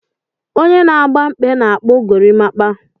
Onye na agba mkpe na-akpu gorimakwa.